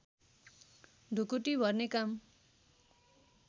ढुकुटी भर्ने काम